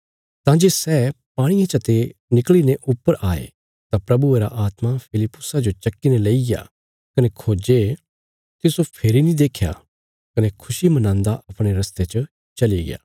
तां जे सै पाणिये चते निकल़ीने ऊपर आये तां प्रभुये रा आत्मा फिलिप्पुसा जो चक्कीने लईग्या कने खोजे तिस्सो फेरी नीं देख्या कने खुशी मनांदा अपणे रस्ते च चली गया